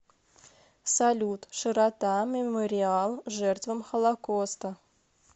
салют широта мемориал жертвам холокоста